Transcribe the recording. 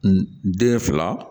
N den fila